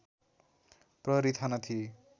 प्रहरी थाना थिए